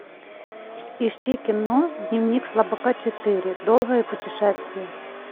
ищи кино дневник слабака четыре долгое путешествие